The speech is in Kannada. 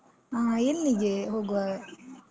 ಹಾ, ಎಲ್ಲಿಗೆ ಹೋಗುವ?